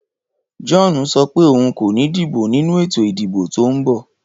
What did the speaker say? John so pé oun kò ni dìbò nínú ètò ìdìbò to n bò